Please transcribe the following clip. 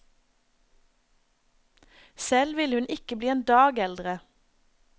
Selv ville hun ikke bli en dag eldre.